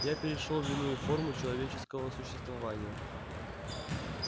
я перешёл в иную форму человеческого существования